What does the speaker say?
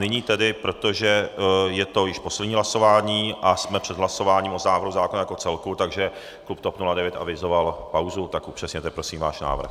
Nyní tedy, protože je to již poslední hlasování a jsme před hlasováním o návrhu zákona jako celku, takže klub TOP 09 avizoval pauzu, tak upřesněte prosím váš návrh.